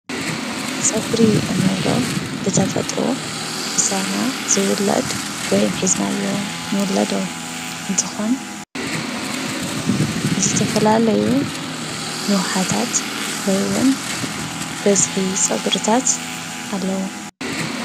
ፀጉሪ እንብሎ ብተፈጥሮ ምሳና ዝውለድ ወይም ሒዝናዮ ንውለዶ እንትኾን ዝተፈላለዩ ንውሓታት ወይ እውን በዝሒ ፀጉርታት ኣለዎ፡፡